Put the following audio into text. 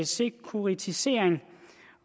sekuritisering